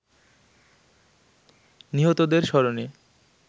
নিহতদের স্মরণে